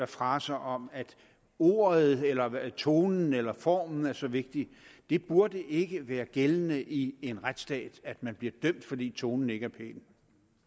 fraser om at ordet eller tonen eller formen er så vigtig det burde ikke være gældende i en retsstat at man bliver dømt fordi tonen ikke er pæn